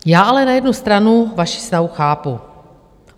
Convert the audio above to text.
Já ale na jednu stranu vaši snahu chápu.